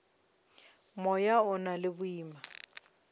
moya o na le boima